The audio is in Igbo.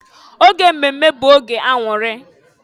Oge mmemme bụ oge aṅụrị.